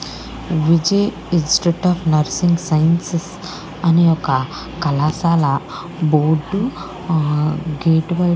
institute of nursing and sciences అని ఒక కళాశాల బోర్డు గేట్ బైట --